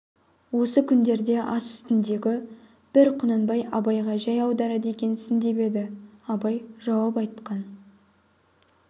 осы күндерде ас үстіндегі бір құнанбай абайға жай аударады екенсің деп еді абай жауап айтқан